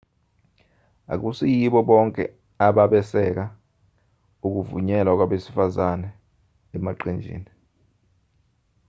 akusiyibo bonke ababesekela ukuvunyelwa kwabesifazane emaqenjini